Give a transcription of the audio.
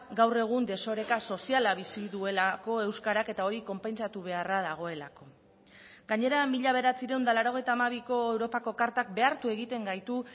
gaur egun desoreka soziala bizi duelako euskarak eta hori konpentsatu beharra dagoelako gainera mila bederatziehun eta laurogeita hamabiko europako kartak behartu egiten gaitu